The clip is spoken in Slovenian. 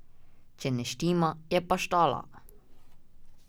Če ne štima, je pa štala.